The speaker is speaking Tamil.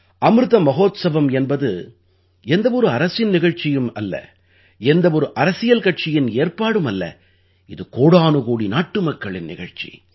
அமிர்த மஹோத்ஸவம் என்பது எந்த ஒரு அரசின் நிகழ்ச்சியும் அல்ல எந்த ஒரு அரசியல் கட்சியின் ஏற்பாடும் அல்ல இது கோடானுகோடி நாட்டுமக்களின் நிகழ்ச்சி